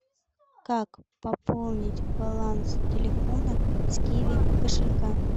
как пополнить баланс телефона с киви кошелька